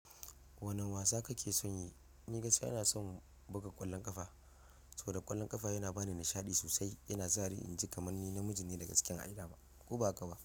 Wane wasa kake son yi? Ni gaskiya ina son buga ƙwallon ƙafa, saboda ƙwallon ƙafa yana bani nishaɗi sosai. Yana sa ni in ji kamar ni namiji ne da gasken ai dama. Ko ba haka ba?